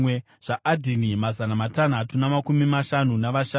zvaAdhini, mazana matanhatu namakumi mashanu navashanu;